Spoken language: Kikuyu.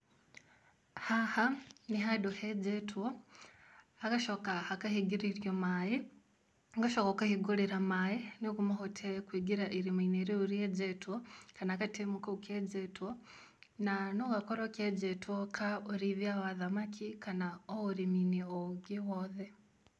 Haha nĩ handũ henjetwo hagacoka hakahingĩrĩrio maĩ, ũgacoka ũkahingũrĩra maĩ, nĩguo mahote kũingĩra irima-inĩ rĩu rĩenjetwo, kana gatemu kau kenjetwo, na no gakorwo kenjetwo ka ũrĩithia wa thamaki kana o ũrĩmi-inĩ o ũngĩ wothe.